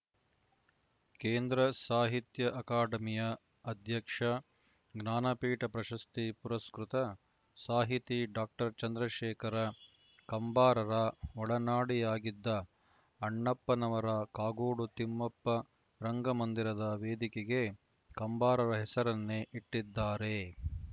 ಕೇಂದ್ರ ಸಾಹಿತ್ಯ ಅಕಾಡೆಮಿಯ ಅಧ್ಯಕ್ಷ ಜ್ಞಾನಪೀಠ ಪ್ರಶಸ್ತಿ ಪುರಸ್ಕೃತ ಸಾಹಿತಿ ಡಾಕ್ಟರ್ ಚಂದ್ರಶೇಖರ ಕಂಬಾರರ ಒಡನಾಡಿಯಾಗಿದ್ದ ಅಣ್ಣಪ್ಪನವರು ಕಾಗೋಡು ತಿಮ್ಮಪ್ಪ ರಂಗಮಂದಿರದ ವೇದಿಕೆಗೆ ಕಂಬಾರರ ಹೆಸರನ್ನೇ ಇಟ್ಟಿದ್ದಾರೆ